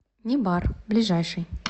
небар ближайший